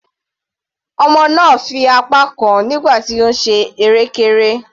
Ọmọ náà fi apá kán nígbà tí ó ń ṣe erékéré.